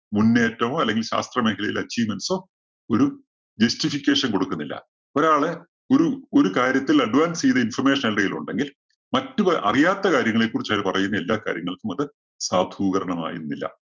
മുന്നേറ്റമോ, അല്ലെങ്കില്‍ ശാസ്ത്രമേഖലയിലെ achievements ഓ, ഒരു justification കൊടുക്കുന്നില്ല. ഒരാളെ ഒരു ഒരു കാര്യത്തില്‍ advance ചെയ്ത information എന്തെങ്കിലും ഉണ്ടെങ്കില്‍ മറ്റു പ അറിയാത്ത കാര്യങ്ങളെ കുറിച്ച് അവര് പറയുന്ന എല്ലാ കാര്യങ്ങൾക്കും അത് സാധൂകരണമാകുന്നില്ല.